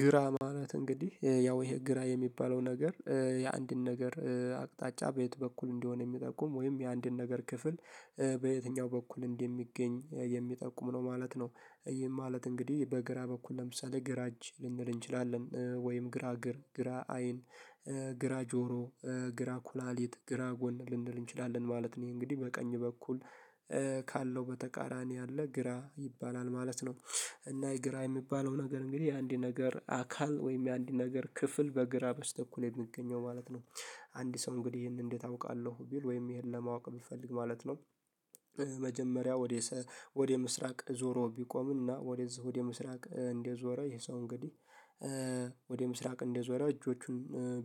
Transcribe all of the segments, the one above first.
ግራ ማለት እንግዲህ ያው ይሄ ግራ የሚባለው ነገር የአንድን ነገር አቅጣጫ በየት በኩል እንደሆነ ሚጠቁም ወይም የአንድን ነገር ክፍል በየትኛው በኩል እንደሚገኝ የሚጠቁም ነው ማለት ነው። ይህም ማለት እንግዲህ በግራ በኩል ለምሳሌ ግራ እጅ ልንል እንችላለን ወይም ግራ እግር ግራ አይን ግራ ጆሮ ግራ ኩላሊት ግራ ጎን ልንል እንችላለን ማለት ነው። እንግዲህ በቀኝ በኩል ካለው በተቃራኒ ያለ ግራ ይባላል ማለት ነው። እና የግራ የሚባለው ነገር እንግዲህ የአንድ ነገር አካል ወይም የአንድ ነገር ክፍል በግራ በስተኩል የምገኘው ማለት ነው። አንድ ሰው እንግዲህ ይሄንን እንዴት አውቃለሁ ቢል ወይም ይሄን ለማወቅ ብፈልግ ማለት ነው። መጀመሪያ ወደ ወደ ምስራቅ ዞሮ ቢቆምና ወደዚህ ወደ ምስራቅ እንደዞራ ይሄ ሰው እንግዲህ። ወደ ምስራቅ እንደዞራ እጆቹን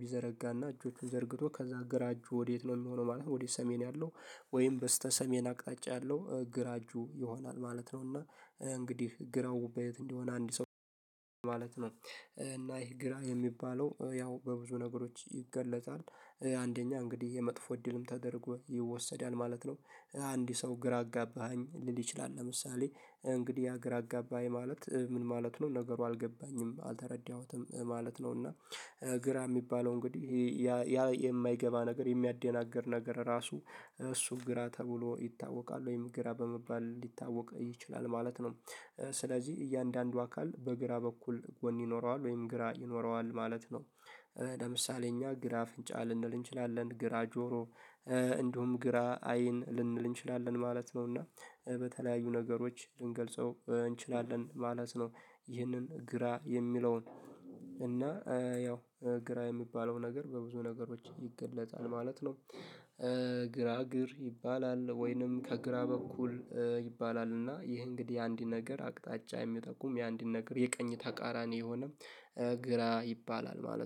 ቢዘረጋና እጆቹን ዘርግቶ ከዛ ግራ እጁ ወዴት ነው የሚሆነው ማለት ነው? ወዴት ሰሜን ያለው ወይም በስተ ሰሜን አቅጣጫ ያለው ግራ እጁ ይሆናል ማለት ነው። እና እንግዲህ ግራው በየት እንዲሆን አንድ ሰው? ማለት ነው እና ይህ ግራ የሚባለው ያው በብዙ ነገሮች ይገለጻል። አንደኛ እንግዲህ የመጥፎ እድልም ተደርጎ ይወሰዳል ማለት ነው። አንድ ሰው ግራ አጋባኸኝ ሊል ይችላል ለምሳሌ እንግዲህ ያ ግራ አገባኝ ማለት ምን ማለት ነው? ነገሩ አልገባኝም አልተረዳሁትም ማለት ነው። እና ግራ ሚባለው እንግዲህ ያ የማይገባ ነገር የሚያደናግር ነገር ራሱ እሱ ግራ ተብሎ ይታወቃል ወይም ግራ በመባል ሊታወቅ ይችላል ማለት ነው። ስለዚህ እያንዳንዱ አካል በግራ በኩል ጎን ይኖረዋል ወይም ግራ ይኖረዋል ማለት ነው። ለምሳሌ እኛ ግራ አፍንጫ ልንል እንችላለን ግራ ጆሮ እንደውም ግራ አይን ልንል እንችላለን ማለት ነው። እና በተለያዩ ነገሮች ልንገልጸው እንችላለን ማለት ነው። ይህንን ግራ የሚለውን እና ያው ግራ የሚባለው ነገር በብዙ ነገሮች ይገለጣል ማለት ነው። ግራ እግር ይባላል ወይንም ከግራ በኩል ይባላል እና ይህ እንግዲህ አንዲት ነገር አቅጣጫ የሚጠቁም የአንዲት ነገር የቀኝ ተቃራኒ የሆነ ግራ ይባላል ማለት ነው